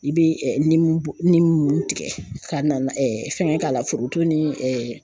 I bɛ bɔ ninnu tigɛ ka na fɛngɛ k'a la foroton ni